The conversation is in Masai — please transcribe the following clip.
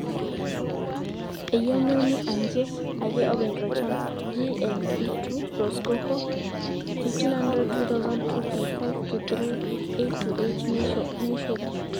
eyieu neuni aanje ake oopeny tolchamba. GLP 2 (Rosecoco)1500 2000 2.5-3 8-10 neisho oleng